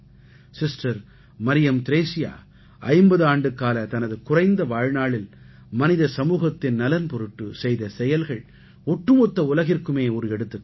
sister Mariam Thresia 50 ஆண்டுக்கால தனது குறைந்த வாழ்நாளில் மனித சமூகத்தின் நலன் பொருட்டு செய்த செயல்கள் ஒட்டுமொத்த உலகிற்குமே ஒரு எடுத்துக்காட்டு